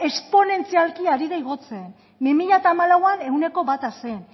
esponentzialki ari da igotzen bi mila hamalauan ehuneko bata zen